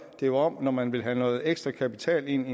jo om at man når man vil have noget ekstra kapital ind